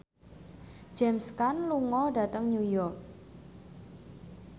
James Caan lunga dhateng New York